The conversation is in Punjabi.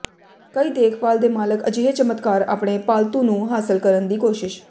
ਕਈ ਦੇਖਭਾਲ ਦੇ ਮਾਲਕ ਅਜਿਹੇ ਚਮਤਕਾਰ ਆਪਣੇ ਪਾਲਤੂ ਨੂੰ ਹਾਸਲ ਕਰਨ ਦੀ ਕੋਸ਼ਿਸ਼